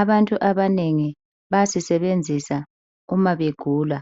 Abantu abanengi bayasisebenzisa nxa begula.